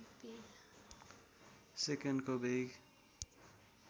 सेकन्डको वेग